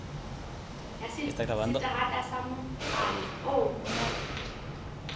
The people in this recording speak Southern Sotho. ya seterata sa motsana oo